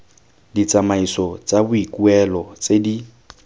ditsamaiso tsa boikuelo tse di